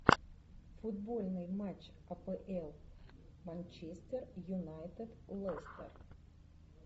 футбольный матч апл манчестер юнайтед лестер